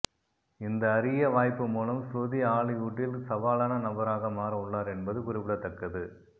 இந்த அறிய வாய்ப்பு மூலம் ஸ்ருதி ஹாலிவுட்டில் சவாலான நபராக மாற உள்ளார் என்பது குறிப்பிடத்தக்கது